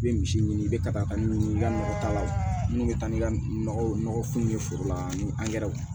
I bɛ misi ɲini i bɛ ka taa ka ɲini i ka nɔgɔ t'a la minnu bɛ taa ni nɔgɔ ye nɔgɔ kun min ye foro la ni angɛrɛw